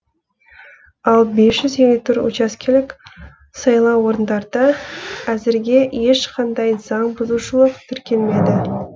ал бес жүз елу төрт учаскелік сайлау орындарда әзірге ешқандай заң бұзушылық тіркелмеді